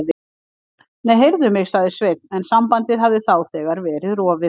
Nei, heyrðu mig. sagði Sveinn en sambandið hafði þá þegar verið rofið.